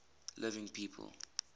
living people